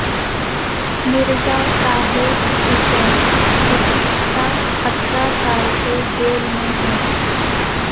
مرزا طاہر حسین گزشتہ اٹھارہ سال سے جیل میں ہیں